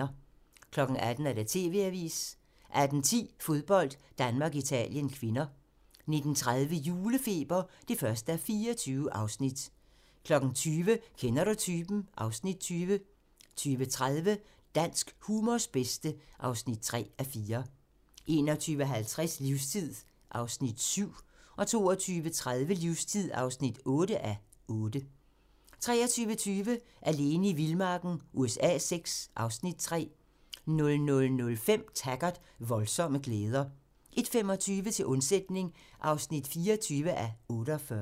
18:00: TV-avisen 18:10: Fodbold: Danmark-Italien (k) 19:30: Julefeber (1:24) 20:00: Kender du typen? (Afs. 20) 20:30: Dansk humors bedste (3:4) 21:50: Livstid (7:8) 22:30: Livstid (8:8) 23:20: Alene i vildmarken USA VI (Afs. 3) 00:05: Taggart: Voldsomme glæder 01:25: Til undsætning (24:48)